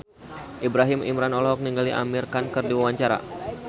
Ibrahim Imran olohok ningali Amir Khan keur diwawancara